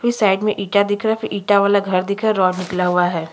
फिर साइड में ईटा दिख रहा है फिर ईटा वाला घर दिख रहा है रॉड निकला हुआ है।